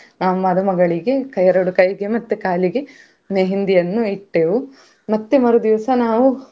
ನಾವ್ ಮದುಮಗಳಿಗೆ ಎರಡು ಕೈಗಳಿಗೆ ಮತ್ತೆ ಕಾಲಿಗೆ मेहंदी ಯನ್ನು ಇಟ್ಟೆವು ಮತ್ತೆ ಮರುದಿವ್ಸ ನಾವು.